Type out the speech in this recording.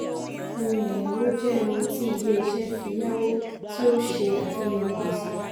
ohun ẹ̀yáwó jẹ́ ohun tí ilé iṣẹ́ fi yáwó tí ó ń ṣe àfihàn gbèsè.